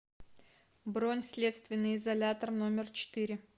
бронь следственный изолятор номер четыре